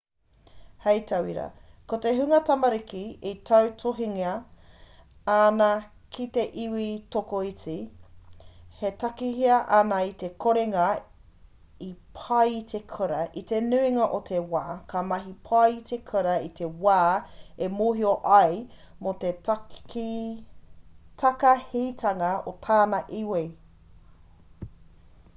hei tauira ko te hunga tamariki e tautohungia ana ki te iwi tokoiti e takahia ana i te korenga i pai i te kura i te nuinga o te wā ka mahi pai i te kura i te wā e mōhio ai mō te takahitanga o tana iwi